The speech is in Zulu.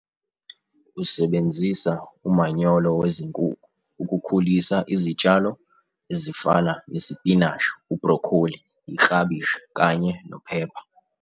Usebenzisa umanyolo wezinkukhu ukukhulisa izitshalo ezifana nesipinashi, ubhrokholi, iklabishi kanye nophepha.